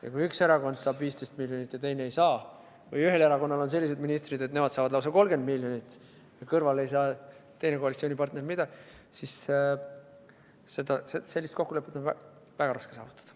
Ja kui üks erakond saab 15 miljonit ja teine ei saa või ühel erakonnal on sellised ministrid, et nemad saavad lausa 30 miljonit ja kõrval ei saa teine koalitsioonipartner midagi, siis sellist kokkulepet on väga raske saavutada.